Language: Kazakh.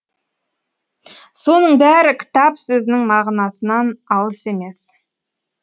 соның бәрі кітап сөзінің мғынасынан алыс емес